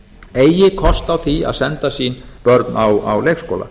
eigi kost á því að senda sín börn á leikskóla